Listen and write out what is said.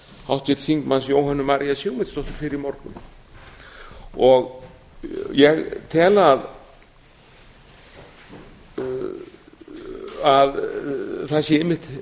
háttvirts þingmanns jóhönnu maríu sigmundsdóttur fyrr í morgun ég tel að það sé einmitt